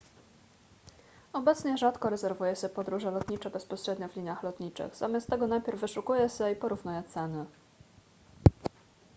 obecnie rzadko rezerwuje się podróże lotnicze bezpośrednio w liniach lotniczych zamiast tego najpierw wyszukuje się i porównuje ceny